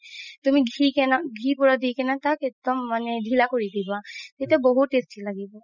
তুমি ঘি কেন ঘি পুৰা দি কিনে তাক একদম মানে ধিলা কৰি দিবা তেতিয়া বহুত tasty লাগিব